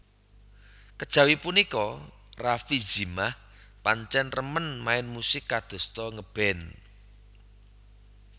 Kejawi punika Rafie Zimah pancen remmen main musik kadosta ngeband